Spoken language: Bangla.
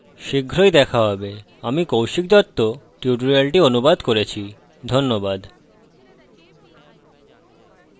শীঘ্রই দেখা হবে আমি কৌশিক দত্ত টিউটোরিয়ালটি অনুবাদ করেছি ধন্যবাদ